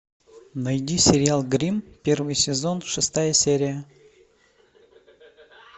найди сериал гримм первый сезон шестая серия